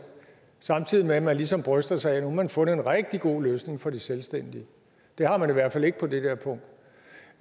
samtidig med at man ligesom bryster sig af at nu har man fundet en rigtig god løsning for de selvstændige det har man i hvert fald ikke på det der punkt